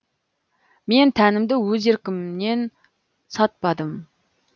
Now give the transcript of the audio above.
мен тәнімді өз еркімнен сатпадым